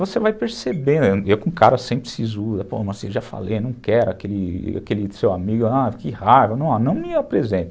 Você vai percebendo, e eu com cara sempre sisuda, já falei, não quero aquele aquele seu amigo, que raro, não me apresenta.